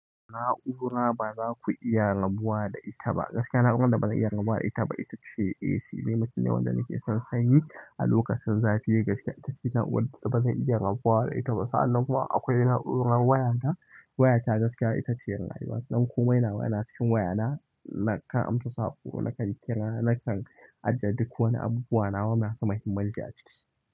Na'ura ba za ku iya rabuwa da ita ba. Gaskiya na'urar da bazan iya rabuwa da ita ba ita ce AC. Ni mutum ne wanda nake son sanyi a lokacin zafi. Gaskiya ita ce da wadda bazan iya rabuwa da ita ba. Sa anan kuma akwai naurar wayana waya ta gaskiya ita ce rayuwa don komai nawa yana cikin wayana. Nakan amsa saƙo nakan kira nakan ajiye duk wani abubuwa wanda nasan nada muhimmanci a ciki.